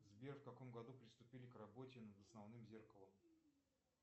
сбер в каком году приступили к работе над основным зеркалом